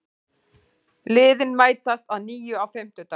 Liðin mætast að nýju á fimmtudag